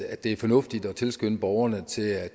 at det er fornuftigt at tilskynde borgerne til at